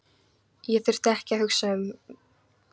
Ég þurfti ekki að hugsa mig um tvisvar.